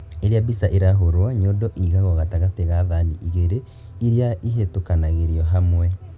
Rĩrĩa mbica ĩrahũrwo, nyondo ĩigagwo gatagati ga thani igĩri irĩa ihĩtũkanagĩrio hamwe